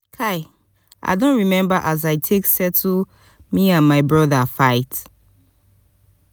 kai i don rememba as i take settle me and my broda fight.